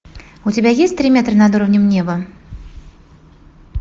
у тебя есть три метра над уровнем неба